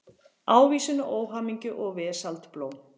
Ávísun á óhamingju og vesaldóm.